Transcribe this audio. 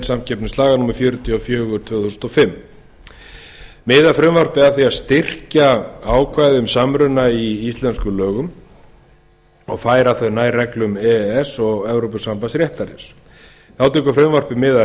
samkeppnislaga númer fjörutíu og fjögur tvö þúsund og fimm miðar frumvarpið að því að styrkja ákvæði um samruna í íslenskum lögum og færa þau nær reglum e e s og evrópusambands réttarins þá tekur frumvarpið mið af